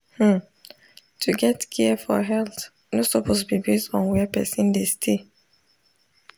hmm to get care for health no suppose be base on where person dey stay.